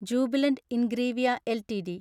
Jubilant Ingrevia LTD